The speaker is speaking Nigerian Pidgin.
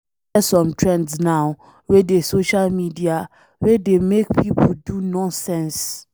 E get some trends now wey dey social media wey dey make people do nonsense.